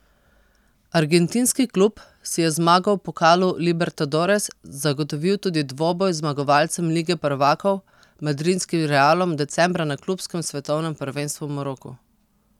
Argentinski klub si je z zmago v pokalu libertadores zagotovil tudi dvoboj z zmagovalcem lige prvakov madridskim Realom decembra na klubskem svetovnem prvenstvu v Maroku.